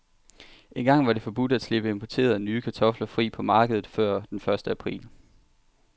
Engang var det forbudt at slippe importerede, nye kartofler fri på markedet før den første april.